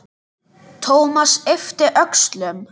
Thomas yppti öxlum.